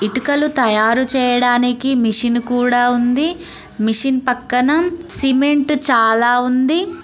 ఇటుకలు తయారు చేయడానికి మిషన్ కూడా ఉంది మిషిన్ పక్కన సిమెంట్ చాలా ఉంది.